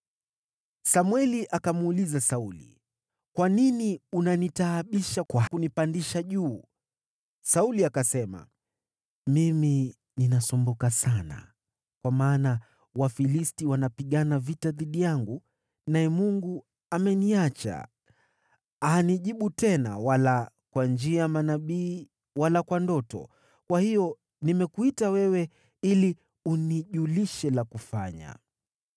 Samweli akamuuliza Sauli, “Kwa nini unanitaabisha kwa kunipandisha juu?” Sauli akasema, “Mimi ninasumbuka sana, kwa maana Wafilisti wanapigana vita dhidi yangu, naye Mungu ameniacha. Hanijibu tena wala kwa njia ya manabii wala kwa ndoto. Kwa hiyo nimekuita wewe ili unijulishe la kufanya.”